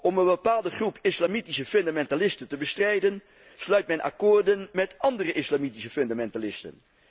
Om een bepaalde groep islamitische fundamentalisten te bestrijden sluit men akkoorden met andere islamitische fundamentalisten.